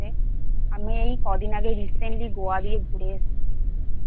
আমি এই ক দিন আগে Recently Goa গিয়ে ঘুরে এসেছি